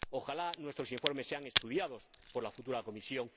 Ojalá nuestros informes sean estudiados por la futura Comisión.